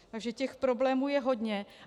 Takže těch problémů je hodně.